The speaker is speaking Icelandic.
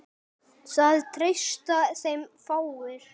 Það treysta þeim fáir.